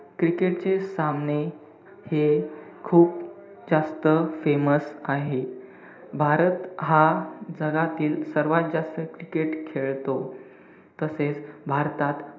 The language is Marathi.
cricket चे सामने, हे खूप जास्त famous आहे. भारत हा जगातील सर्वात जास्त cricket खेळतो. तसेच भारतात,